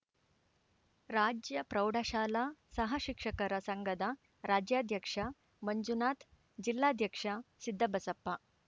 ರಾಜ್ಯ ಪ್ರೌಢಶಾಲಾ ಸಹ ಶಿಕ್ಷಕರ ಸಂಘದ ರಾಜ್ಯಾಧ್ಯಕ್ಷ ಮಂಜುನಾಥ್‌ ಜಿಲ್ಲಾಧ್ಯಕ್ಷ ಸಿದ್ದಬಸಪ್ಪ